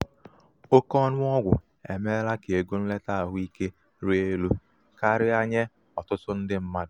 oke ọnụ ọgwụ emeela ka ego nleta ahụ ike rịa elu karịa nye ọtụtụ ndị mmadụ.